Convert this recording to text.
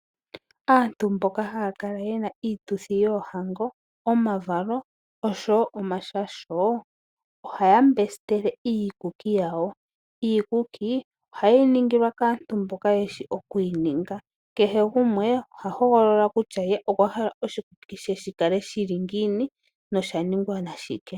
Aantu mboka haya kala yena iituthi yoohango, omavalo oshowo omashasho, ohaya mbesitele iikuki yawo. Iikuki ohaye yi ningilwa kaantu mboka yeshi oku yi ninga. Kehe gumwe oha hogolola kutya ye okwa hala oshikuki she shi kale shili ngiini noshaningwa nashike.